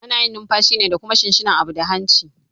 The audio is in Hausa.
Ana numfashi ne da kuma shinshina abu da hanci